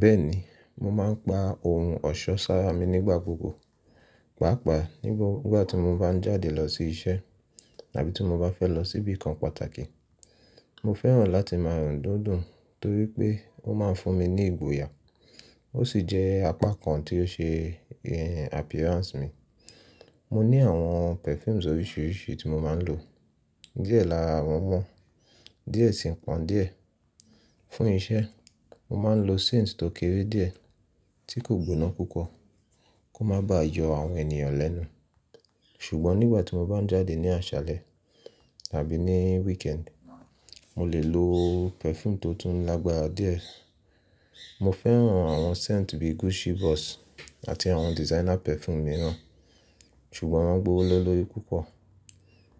Bẹ́ẹ̀ni, mo máa ń pa ohun ọ̀ṣọ́ sára mi nígbà gbogbo, pàápàá nígbà tí mo bá ń jáde lọ sí iṣẹ́ tàbí tí mo bá fẹ́ lọ síbi kan pàtàkì. Mo fẹ́ràn láti máa rùn dídùn torí pé ó máa ń fún mi ní ìgboyà, ó sì jẹ́ apá kan tí ó ṣe appearance mi. Mo ní àwọn perfumes oríṣìíríṣìí tí mo máa ń lò. Díẹ̀ lára wọ́n mọ́, díẹ̀ sì pọ̀n díẹ̀. Fún iṣẹ́, mo máa ń lo scents tó kéré díẹ̀ tí kò gbóná púpọ̀ kó má ba yọ àwọn ènìyàn lẹ́nu. Ṣùgbọ́n nígbà tí mo bá ń jáde ní àṣálẹ́ tàbí ní weekend, mo lè lo perfume tó tún lágbára díẹ̀. Mo fẹ́ràn àwọn scents bíi Gucci Boss àti àwọn designer perfume mìíràn, ṣùgbọ́n wọ́n gbówó lóri púpọ̀.